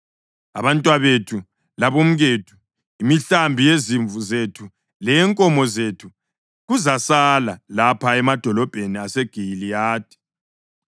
Abantwabethu labomkethu, imihlambi yezimvu zethu leyenkomo zethu kuzasala lapha emadolobheni aseGiliyadi.